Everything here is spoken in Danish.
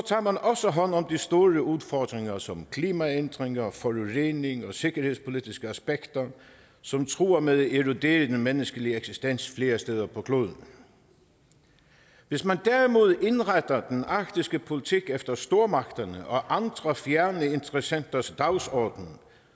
man også hånd om de store udfordringer som klimaændringer forurening og sikkerhedspolitiske aspekter som truer med at erodere den menneskelige eksistens flere steder på kloden hvis man derimod indretter den arktiske politik efter stormagterne og andre fjerne interessenters dagsorden